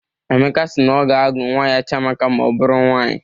Emeka si na ọ ga-agụ nwa ya Chiamaka ma ọ bụrụ nwaanyị.